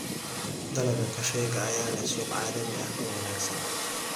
Dalagga kafeega ayaa leh suuq caalami ah oo wanaagsan.